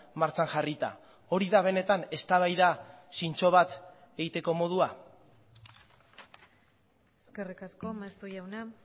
martxan jarrita hori da benetan eztabaida zintzo bat egiteko modua eskerrik asko maeztu jauna